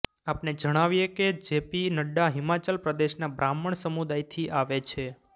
આપને જણાવીએ કે જે પી નડ્ડા હિમાચલ પ્રદેશના બ્રાહ્મણ સમૂદાયથી આવે છે